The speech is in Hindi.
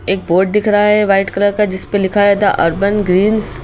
एक बोर्ड दिख रहा है वाइट कलर का जिसपे लिखा है द अर्बन ग्रीन्स --